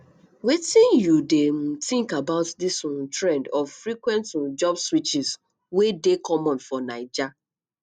wetin you dey um think about dis um trend of frequent um job switches wey dey common for naija